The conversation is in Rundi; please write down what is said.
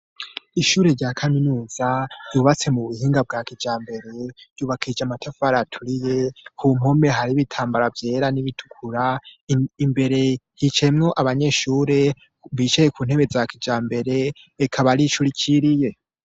Ishure rya kaminuza yubatse mu buhinga bwa kijambere yubakishije amatafari aturiye, ku mpome hari ibitambara vyera n'ibitukura, imbere hicayemwo abanyeshure bicaye ku ntebe za kijambere eka baricurikiriye.